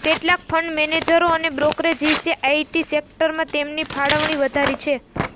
કેટલાક ફંડ મેનેજરો અને બ્રોકરેજિસે આઇટી સેક્ટરમાં તેમની ફાળવણી વધારી છે